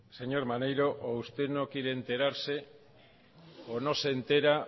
señor maneiro o usted no quiere enterarse o no se entera